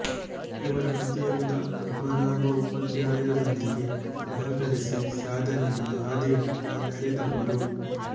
ಇವರ ಪತಿಯಾದ ಪದ್ಮನಾಭ ಉಪಾಧ್ಯಾಯರೊಂದಿಗೆ ಸಹಕರಿಸಿ ಸಾಧನೆಯ ಹಾದಿಯತ್ತ ನಡೆದವರು